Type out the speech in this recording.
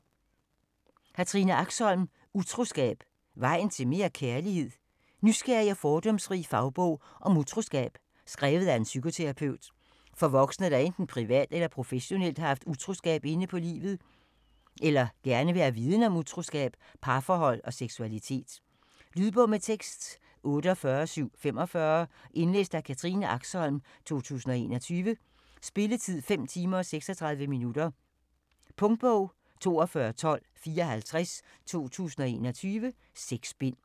Axholm, Katrine: Utroskab: vejen til mere kærlighed? Nysgerrig og fordomsfri fagbog om utroskab skrevet af en psykoterapeut. For voksne, der enten privat eller professionelt har haft utroskab inde på livet eller gerne vil have viden om utroskab, parforhold og seksualitet. Lydbog med tekst 48745 Indlæst af Katrine Axholm, 2021. Spilletid: 5 timer, 36 minutter. Punktbog 421254 2021. 6 bind.